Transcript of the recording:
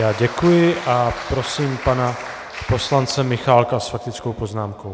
Já děkuji a prosím pana poslance Michálka s faktickou poznámkou.